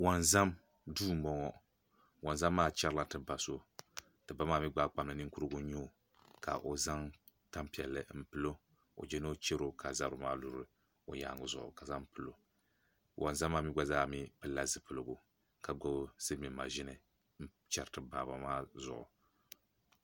Wonzam duu n boŋo wonzam maa chɛrila ti ba so ti ba maa mii gbaai kpamli ninkurigu n nyɛ o ka o zaŋ tanpiɛlli n pilo o jɛ ni o chɛro ka zabiri maa luri o yaangi zuɣu ka zaŋ pilo wonzam maa mii gba zaa pilila zipiligu ka gbubi silmiin maʒini n chɛri ti baaba maa zuɣu